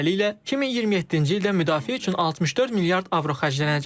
Beləliklə, 2027-ci ildə müdafiə üçün 64 milyard avro xərclənəcək.